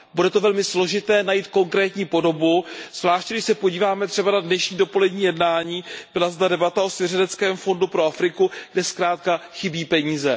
Bude to velmi složité najít konkrétní podobu, zvláště když se podíváme třeba na dnešní dopolední jednání, byla zde debata o svěřeneckém fondu pro Afriku, kde zkrátka chybí peníze.